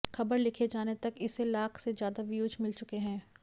खबर लिखे जाने तक इसे लाख से ज्यादा व्यूज मिल चुके हैं